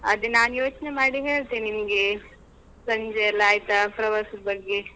ಅದೆ ನಾನು ಯೋಚ್ನೆ ಮಾಡಿ ಹೇಳ್ತೆ ನಿಮ್ಗೆ. ಸಂಜೆ ಎಲ್ಲಾ ಆಯ್ತಾ ಪ್ರವಾಸದ್ ಬಗ್ಗೆ.